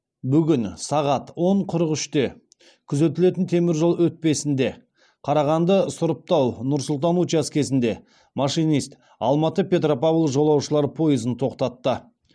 бүгін сағат он қырық үште күзетілетін теміржол өтпесінде қарағанды сұрыптау нұр сұлтан учаскесінде машинист алматы петропавл жолаушылар пойызын тоқтатты